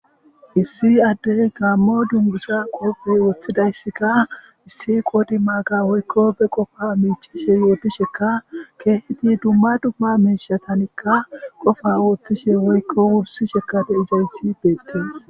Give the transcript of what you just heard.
Issi addey gaammo dungusha qoobey woththidayssikka issi qodi maaga woyiko be qofa miicishe yooti sheka keeheti dumma dumma miishatanikka qofa oothishe woykko wursi shekade izayssi beettees